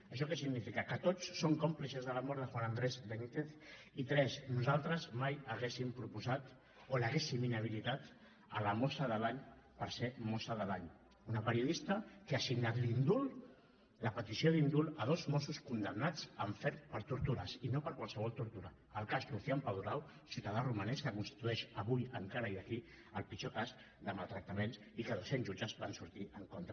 això què significa que tots som còmplices de la mort de juan andrés benítez i tres nosaltres mai hauríem proposat o l’hauríem inhabilitat la mossa de l’any per ser mossa de l’any una periodista que ha signat la petició d’indult a dos mossos condemnats en ferm per tortures i no per qualsevol tortura el cas lucian paduraru ciutadà romanès que constitueix avui encara i aquí el pitjor cas de maltractaments i que doscents jutges hi van sortir en contra